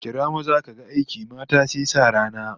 Kira maza kaga aiki, mata sai sa rana